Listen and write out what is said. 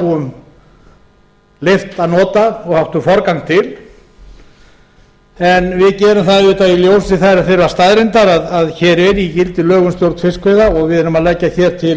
búum leyft að nota og áttu forgang til en við gerum það auðvitað í ljósi þeirrar staðreyndar að hér eru í gildi lög um stjórn fiskveiði og við erum að leggja hér til